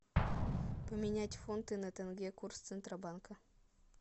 поменять фунты на тенге курс центробанка